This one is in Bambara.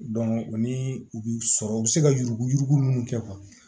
o ni u bi sɔrɔ u bi se ka yurugu yurugu munnu kɛ